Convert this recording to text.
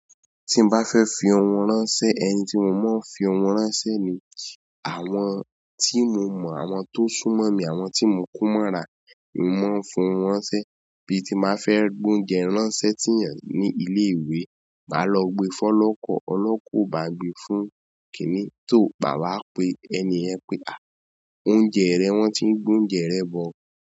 Tí n bá fẹ́ fi ohun ránṣẹ́, ẹni tí mo máa ń fi ohun ránṣẹ́ ni àwọn tí mo mọ̀, àwọn tó sún mọ́ mi, àwọn tí mo ko mọ́ra ni mò ń fi ohun ránṣẹ́. Bí ti máa fẹ́ gbé oúnjẹ ránṣẹ́ sí ènìyàn ní ilé-ìwé, máa lọ gbe fọ́lọ́kọ̀. Ọlọ́kọ̀ ò bá gbe fún kíní so mà wá pe ẹni yen pé, "à, oúnjẹ rẹ, wọ́n ti ń gbé oúnjẹ rẹ bọ̀."